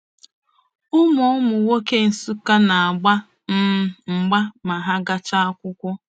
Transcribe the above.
Ụmụ Ụmụ nwoke Nsukka na-agba um mgba ma ha gachaa akwụkwọ.